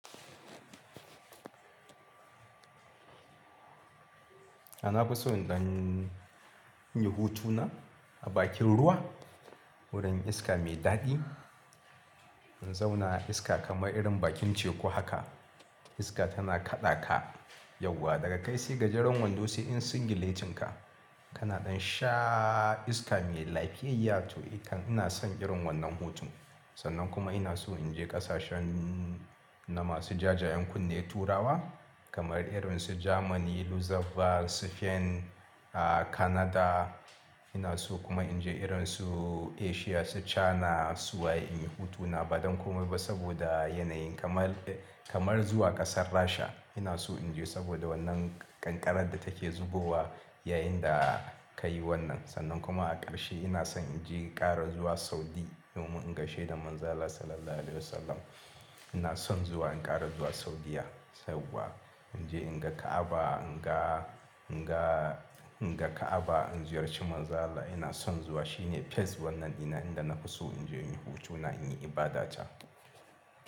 A na fi so in ɗan inyi hutuna a bakin ruwa wurin iska mai daɗi. In zauna a iska kamar irin bakin teku haka iska tana kaɗa ka yauwa daga kai sai ga jeran wando sai yar singile tin ka. Ka na ɗan sha iska mai lafiyayya to eh kam. Ina son irin wannan hutun sannan kuma ina so inje ƙasashen na masu jajayen kunne turawa kamar irin su Germany, Luxembourg, Spain, ah Canada. Ina so kuma inje irin su Asia su China suwaye inyi hutuna ba don komai ba saboda yanayin kamar, kamar zuwa ƙasar Rasha ina so inje saboda wannan ƙanƙarar da take zubowa yayin da ka yi wannan. Sannan kuma a ƙarshe ina son inje ƙara zuwa Saudi domin in gaishe da ManzonAllah Sallallahu Alaihi Wasallam. Ina son zuwa in ƙara zuwa Saudiyya saboda inje in ga Ka'aba in ga, in ga, in ga Ka'aba in ziyarci ManzonAllah ina son zuwa shi ne first wannan ina, inda na fi so inje inyi hutuna inyi ibada can.